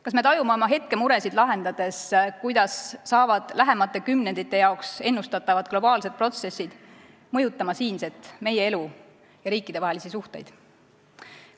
Kas me tajume oma hetkemuresid lahendades, kuidas hakkavad lähemate kümnendite jaoks ennustatavad globaalsed protsessid mõjutama siinset elu ja riikidevahelisi suhteid?